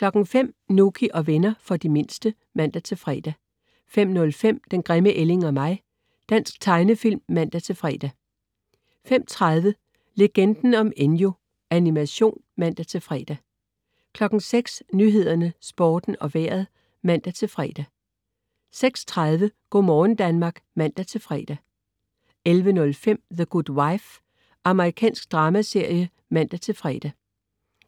05.00 Nouky og venner. For de mindste (man-fre) 05.05 Den grimme ælling og mig. Dansk tegnefilm (man-fre) 05.30 Legenden om Enyo. Animation (man-fre) 06.00 Nyhederne, Sporten og Vejret (man-fre) 06.30 Go' morgen Danmark (man-fre) 11.05 The Good Wife. Amerikansk dramaserie (man-fre)